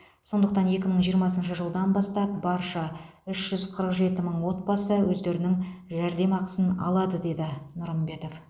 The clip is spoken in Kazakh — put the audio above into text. сондықтан екі мың жиырмасыншы жылдан бастап барша үш жүз қырық жеті мың отбасы өздерінің жәрдемақысын алады деді нұрымбетов